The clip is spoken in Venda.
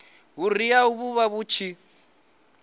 vhuriha hu vha hu tshi